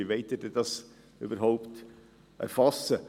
Wie wollen Sie dies denn überhaupt erfassen?